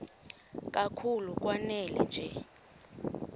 kakhulu lanela nje